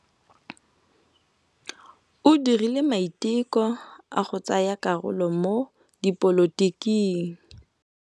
O dirile maitekô a go tsaya karolo mo dipolotiking.